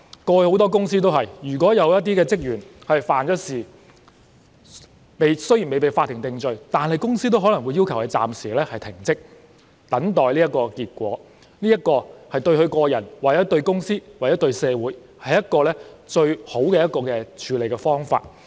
過去很多公司也是這樣做的，如果有職員犯事，雖然未被法庭定罪，但公司也可能要求該人暫時停職等候結果，這對個人、公司或社會也是最好的處理方法。